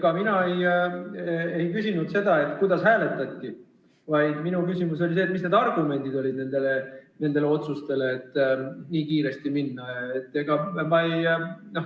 Ega mina ei küsinud seda, kuidas hääletati, vaid minu küsimus oli see, mis olid argumendid, et otsustati selle seaduseelnõuga nii kiiresti edasi minna.